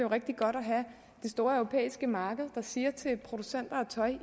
rigtig godt at have det store europæiske marked der siger til producenter af tøj